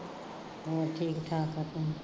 ਬਸ ਠੀਕ ਠਾਕ ਆ ਆਪਣੀ